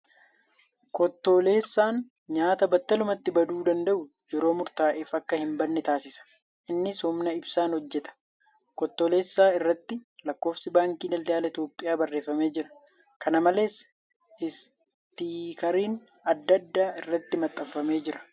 Kottoleessaan nyaata battalumatti baduu danda'u yeroo murtaa'eef akka hin banne taasisa. Innis humna ibsaan hojjata. Kottoleessaa irratti lakkoofsi baankii daldala Itiyoophiyaa barreeffamee jira. Kana malees , Istiikariin adda addaa irratti maxxanfamee jira.